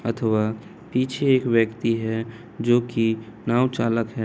--अथवा पीछे एक व्यक्ति है जो की नाव चालक है।